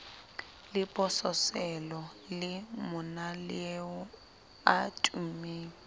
lebososelo le monaleo a tummeng